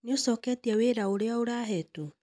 Nĩ ũcoketie wĩra ũrĩa ũrahetwo?